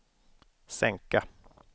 sänka